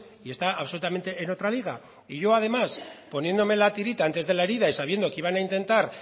y está absolutamente en otra liga y yo además poniendo la tirita antes de la herida y sabiendo que iban a intentar